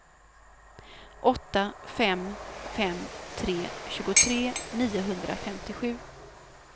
åtta fem fem tre tjugotre niohundrafemtiosju